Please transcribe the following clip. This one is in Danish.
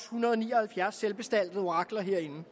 hundrede og ni og halvfjerds selvbestaltede orakler herinde